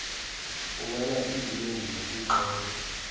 fumana iimpendulo kwiqela